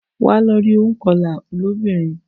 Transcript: Wa lọ rí ònkọlà lóbìnrin